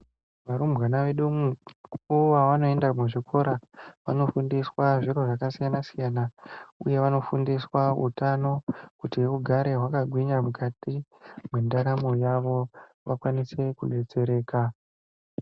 Varumbwana vedu umwu mukuwo wavanoenda kuzvikora vanofundiswa zviro zvakasiyana siyana, uye vanofundiswa utano kuti ugare hwakagwinya mukati mwendaramo yavo vakwanise kudetsereka.